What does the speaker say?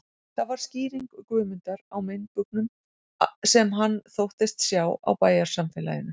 Það var skýring Guðmundar á meinbugum, sem hann þóttist sjá á bæjarsamfélaginu